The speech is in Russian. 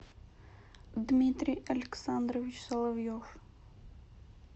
дмитрий александрович соловьев